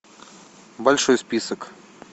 большой список